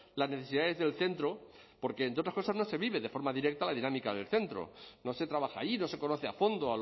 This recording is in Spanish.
las necesidades del centro porque entre otras cosas no se vive de forma directa la dinámica del centro no se trabaja allí no se conoce a fondo